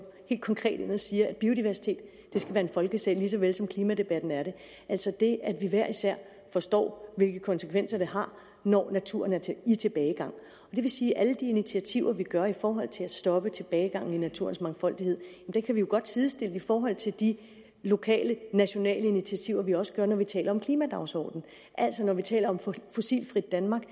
helt konkret ind og siger at biodiversitet skal være en folkesag lige så vel som klimadebatten er det altså det at vi hver især forstår hvilke konsekvenser det har når naturen er i tilbagegang og det vil sige at alle de initiativer vi tager i forhold til at stoppe tilbagegangen i naturens mangfoldighed kan vi godt sidestille i forhold til de lokale nationale initiativer vi også tager når vi taler om klimadagsordenen altså når vi taler om et fossilfrit danmark